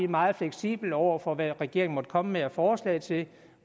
meget fleksible over for hvad regeringen måtte komme med af forslag til